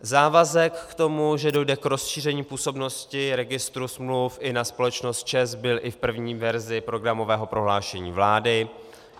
Závazek k tomu, že dojde k rozšíření působnosti registru smluv i na společnost ČEZ, byl i v první verzi programového prohlášení vlády.